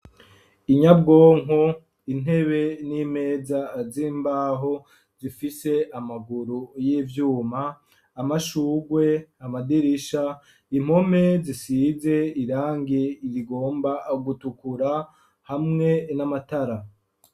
Inyabwonko, intebe n'imeza z'imbaho zifishe amaguru y'ivyuma, amashugwe amadirisha, impome zisize irangi irigomba gutukura hamwe n'amatara.